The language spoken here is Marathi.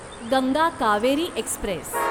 गंगा कावेरी एक्स्प्रेस